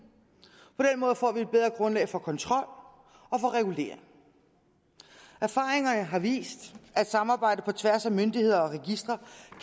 måde får vi et bedre grundlag for kontrol og for regulering erfaringerne har vist at samarbejdet på tværs af myndigheder og registre